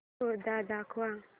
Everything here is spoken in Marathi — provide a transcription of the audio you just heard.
शो दाखव